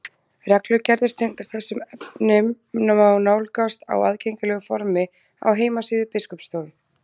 Reglugerðir tengdar þessum efnum má nálgast á aðgengilegu formi á heimasíðu Biskupsstofu.